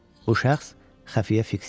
O şəxs xəfiyyə Fiks idi.